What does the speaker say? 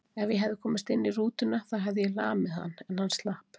Ef ég hefði komist inn í rútuna þá hefði ég lamið hann, en hann slapp.